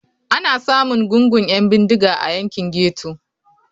Ana samun gungun 'yan bindiga a yankin ghetto.